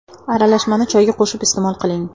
Aralashmani choyga qo‘shib iste’mol qiling.